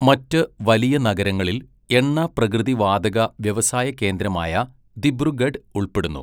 മറ്റ് വലിയ നഗരങ്ങളിൽ എണ്ണ പ്രകൃതി വാതക വ്യവസായ കേന്ദ്രമായ ദിബ്രുഗഡ് ഉൾപ്പെടുന്നു.